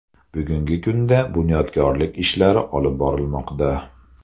Bugungi kunda bunyodkorlik ishlari olib borilmoqda.